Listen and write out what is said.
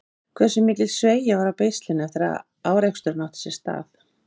Hversu mikil sveigja var á beislinu eftir að áreksturinn átti sér stað?